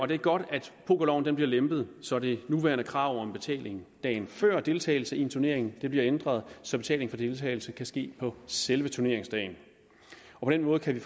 det er godt at pokerloven bliver lempet så det nuværende krav om betaling dagen før deltagelse i en turnering bliver ændret så betaling for deltagelse kan ske på selve turneringsdagen på den måde kan vi